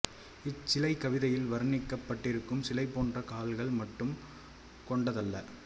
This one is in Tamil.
இச்சிலை கவிதையில் வர்ணிக்கப்பட்டிருக்கும் சிலை போன்று கால்கள் மட்டும் கொண்டதல்ல